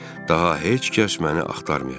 Daha heç kəs məni axtarmayacaq.